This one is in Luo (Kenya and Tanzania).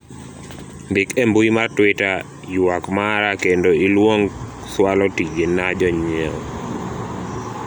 ndik e mbui mar twita ywak mara kendo iluong cwalo tije na jonyiewo